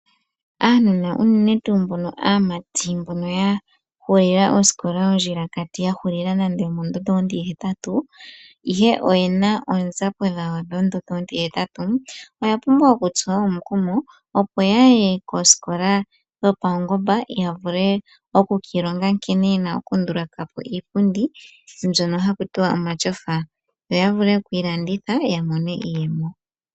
Aanona unene tuu mbono aamati mbono ya hulila osikola ondjilakati ya hulila nande omondondo ontihetatu, ihe oye na oonzapo dhawo dhondondo ontihetatu oya pumbwa okutsuwa omukumo, opo ya ye koosikola dhopaungomba ya vule okukiilonga nkene ye na okunduluka po iipundi mbyono haku tiwa omatyofa yo ya vule okuyi landitha ya mone iiyemo.